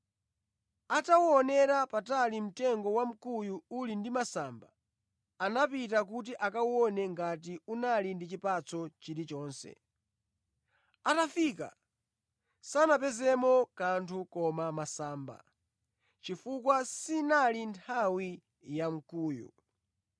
Ataonera patali mtengo wamkuyu uli ndi masamba, anapita kuti akaone ngati unali ndi chipatso chilichonse. Atafika, sanapezemo kanthu koma masamba, chifukwa sinali nthawi ya nkhuyu.